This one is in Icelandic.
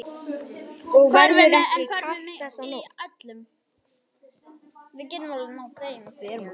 Og verður ekki kalt þessa nótt.